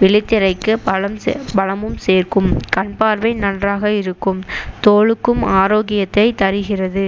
விழித் திரைக்கு பலம்~ பலமும் சேர்க்கும் கண் பார்வை நன்றாக இருக்கும் தோலுக்கும் ஆரோக்கியத்தை தருகிறது